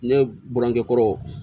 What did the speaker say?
Ne buramuso kɔrɔ